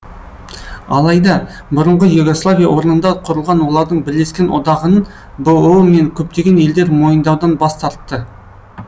алайда бұрынғы югославия орнында құрылған олардың бірлескен одағын бұұ мен көптеген елдер мойындаудан бас тартты